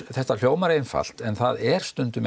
þetta hljómar einfalt en það er stundum